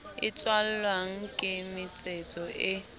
e tswalwang ke metsetso e